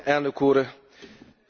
Frakcióvezető Úr!